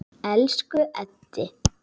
Elsku Eddi.